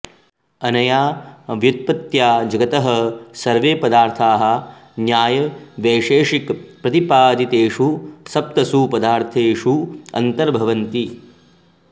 अनया व्युत्पत्त्या जगतः सर्वे पदार्थाः न्यायवैशेषिकप्रतिपादितेषु सप्तसु पदार्थेषु अन्तर्भवन्ति